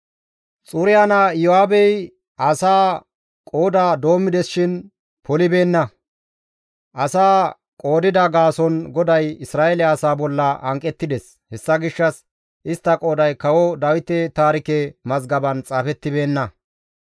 Xuriya naa Iyo7aabey asaa qooda doommides shin polibeenna; asaa qoodida gaason GODAY Isra7eele asaa bolla hanqettides; hessa gishshas istta qooday Kawo Dawite taarike mazgaban xaafettibeenna.